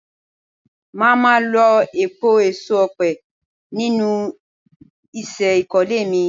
Máa má lo èèpo èso ọ̀pẹ nínú isẹ́ ìkólé mi.